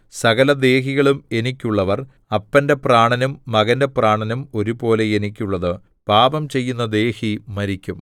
സകല ദേഹികളും എനിക്കുള്ളവർ അപ്പന്റെ പ്രാണനും മകന്റെ പ്രാണനും ഒരുപോലെ എനിക്കുള്ളത് പാപം ചെയ്യുന്ന ദേഹി മരിക്കും